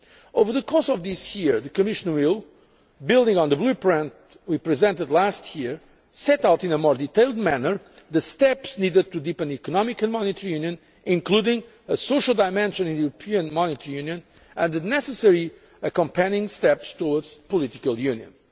future. Over the course of this year the Commission will, building on the blueprint we presented last year, set out in a more detailed manner the steps needed to deepen economic and monetary union, including a social dimension in the EMU and the necessary accompanying steps towards political